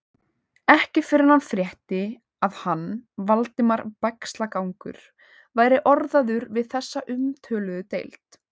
Ekki fyrr en hann frétti, að hann, Valdimar Bægslagangur, væri orðaður við þessa umtöluðu deild.